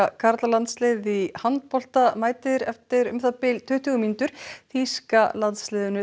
karlalandsliðið í handbolta mætir eftir um það bil tuttugu mínútur þýska landsliðinu